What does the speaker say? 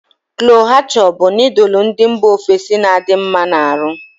Chole bhature bu nodul ndi mba ofesi n'adi nma n'aru